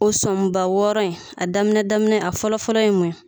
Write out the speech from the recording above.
O sɔnba wɔɔrɔ in a daminɛ daminɛ a fɔlɔfɔlɔ ye mun ye